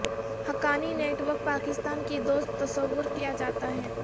Haqqani network Pakistan کی دوست تصور کیا جاتا ہے